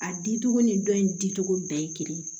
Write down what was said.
A di cogo ni dɔ in dicogo bɛɛ ye kelen ye